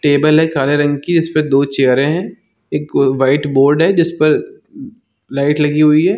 Table है काले रंग की इसपे दो चेयरे है एक वाइट बोर्ड है जिस पर लाइट लगी हुई है।